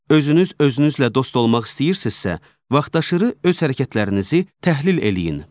Özünüz özünüzlə dost olmaq istəyirsinizsə, vaxtaşırı öz hərəkətlərinizi təhlil eləyin.